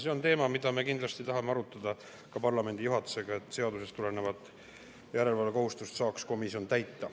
See on teema, mida me kindlasti tahame arutada ka parlamendi juhatusega, et komisjon saaks täita seadusest tulenevat järelevalvekohustust.